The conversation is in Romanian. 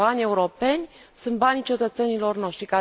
Banii europeni sunt banii cetățenilor noștri